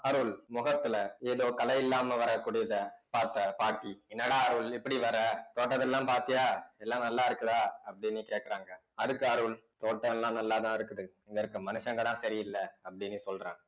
அருள் முகத்துல ஏதோ கலை இல்லாமல் வரக்கூடியதை பார்த்த பாட்டி என்னடா அருள் இப்படி வர்ற தோட்டத்தையெல்லாம் பார்த்தியா எல்லாம் நல்லா இருக்குதா அப்படின்னு கேட்கிறாங்க அதுக்கு அருள் தோட்டம் எல்லாம் நல்லாதான் இருக்குது இங்க இருக்க மனுஷங்கதான் சரியில்லை அப்டினு சொல்றான்